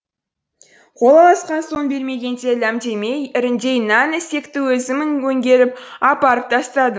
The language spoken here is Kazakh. қол алысқан соң бермегенде ләм демей іріңдей нән ісекті өзім өңгеріп апарып тастадым